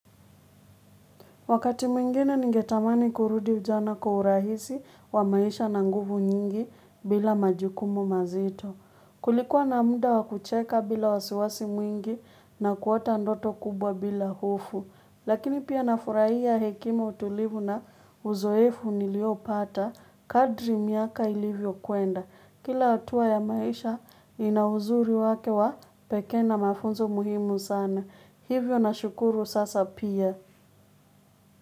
Wakati mwingine ningetamani kurudi ujana kwa urahisi wa maisha na nguvu nyingi bila majukumu mazito. Kulikuwa na muda wa kucheka bila wasiwasi mwingi na kuota ndoto kubwa bila hofu. Lakini pia nafurahia hekima, utulivu na uzoefu niliopata kadri miaka ilivyo kumwenda. Kila hatua ya maisha ina uzuri wake wa pekee na mafunzo muhimu sana. Hivyo na shukuru sasa pia.